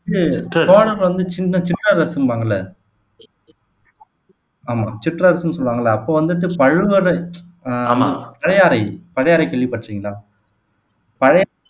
வந்து சோழர்கள் வந்து சின்ன சிற்றரசும்பாங்கல்ல ஆமா சிற்றரசுன்னு சொல்லுவாங்கல்ல அப்போ வந்துட்டு பழுவறை பழையாறை பழையாறை கேள்விப்பட்டிருக்கீங்களா பழை